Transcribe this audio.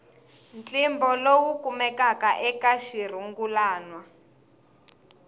ntlimbo lowu kumekaka eka xirungulwana